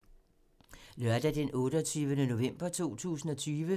Lørdag d. 28. november 2020